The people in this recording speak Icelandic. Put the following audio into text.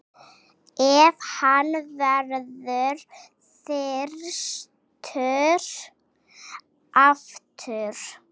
Ef hann verður þyrstur aftur.